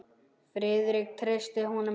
Friðrik treysti honum ekki.